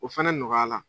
O fɛnɛ nɔgɔyala